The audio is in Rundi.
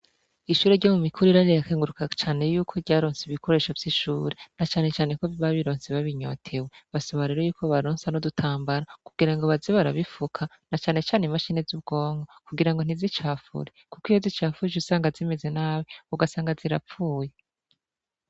Ishure ryo mu mikuru irari rakenguruka cane yuko ryaronse ibikoresho vy'ishure na canecane ko vibabironse babinyotewe basobariro yuko baronsa no dutambara kugira ngo bazibarabifuka na canecane imashine z'ubwongo kugira ngo ntizicafure, kuko iyo zicafuje usanga zimeze nabe ugasanga zirapfuye.